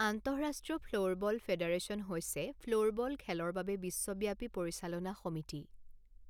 আন্তঃৰাষ্ট্ৰীয় floorball federation হৈছে floorball খেলৰ বাবে বিশ্বব্যাপী পৰিচালনা সমিতি।